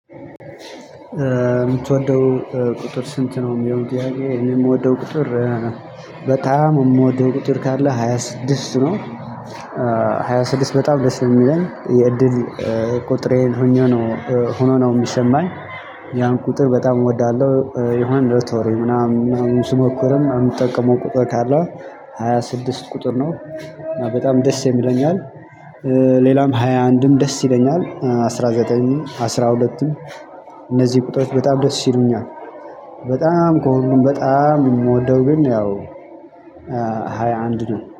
የምትወደው ቁጥር ስንት? ነው የሚለው ጥያቄ እኔ የምወደው ቁጥር በጣም የምወደው ቁጥር ካለ ሃያ ስድስት ነው። ሃያ ስድስት በጣም ደስ የሚለኝ የእድል ቁጥሬን ሆኖ ነው ሆኖ ነው የሚሰማኝ። ያን ቁጥር በጣም እወዳለሁ። የሆነ ሎቶሬ ምናምን ስሞክርም የምጠቀመው ቁጥር ካለ። ሃያ ስድስት ቁጥር ነው በጣም ደስ የሚለኝ ይለኛል። ሌላም ሃያ አንድም ደስ ይለኛል አስራ ዘጠኝ አስራ ሁለትም እነዚህ ቁጥሮች በጣም ደስ ይሉኛል። በጣም ከሁሉም በጣም የምወደው ግን ያው ሃያ አንድ ነው